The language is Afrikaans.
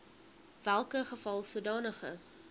welke geval sodanige